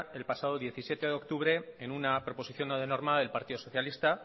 el pasado diecisiete de octubre en una proposición no de norma del partido socialista